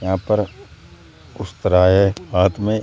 यहां पर उस्तरा है हाथ में।